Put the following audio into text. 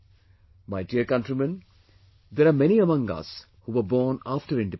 My dear countrymen there are many among us who were born after independence